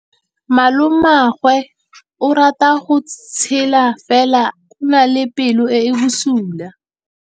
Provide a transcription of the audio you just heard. Malomagwe o rata go tshega fela o na le pelo e e bosula.